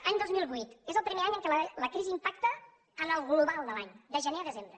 any dos mil vuit és el primer any en què la crisi impacta en el global de l’any de gener a desembre